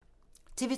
TV 2